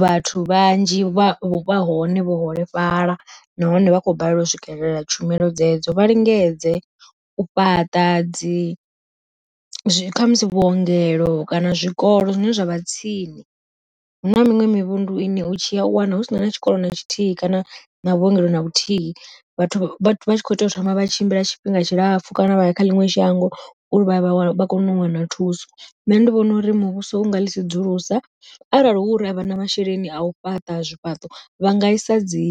vhathu vhanzhi vha vha hone vho holefhala, nahone vha khou balelwa u swikelela tshumelo dzedzo, vha lingedze u fhaṱa dzi zwi khamusi vhuongelo kana zwikolo zwine zwa vha tsini. Huna miṅwe mivhundu ine u tshi ya u wana husina na tshikolo na tshithihi kana na vhuongelo na vhuthihi, vhathu vha tshi kho tea u thoma vha tshimbila tshifhinga tshilapfu kana vha ya kha ḽiṅwe shango uri vha vha vha kone u wana thuso. Nṋe ndi vhona uri muvhuso u nga ḽi sedzulusa, arali hu uri a vha na masheleni a u fhaṱa zwifhaṱo vha nga isa dzi